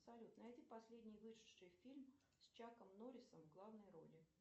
салют найди последний вышедший фильм с чаком норрисом в главной роли